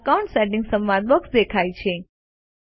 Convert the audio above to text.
account settings સંવાદ box દેખાય છે